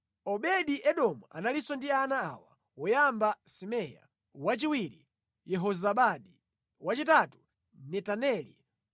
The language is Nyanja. Obedi-Edomu analinso ndi ana awa: woyamba Semaya, wachiwiri Yehozabadi, wachitatu Yowa, wachinayi Sakara, wachisanu Netaneli,